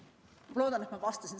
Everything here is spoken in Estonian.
Ma loodan, et ma vastasin.